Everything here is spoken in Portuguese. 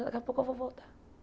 Daqui a pouco eu vou voltar.